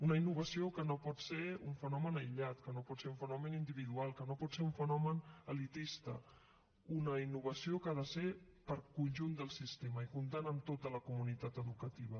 una innovació que no pot ser un fenomen aïllat que no pot ser un fenomen individual que no pot ser un fenomen elitista una innovació que ha de ser per al conjunt del sistema i comptant amb tota la comunitat educativa